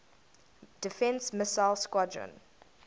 defense missile squadron